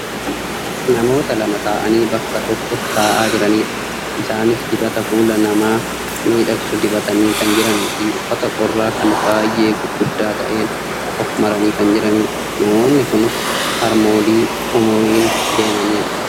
Namoota lama ta'anii bakka tokko taa'aa jiranidha. Isaanis dibata fuula namaa miidhagsu dibatanii kan jiraniifi uffata qorraa kan baayyee gurguddaa ta'een of maranii kan jiranidha. Namoonni kunis harmoolii umuriin deemanidha.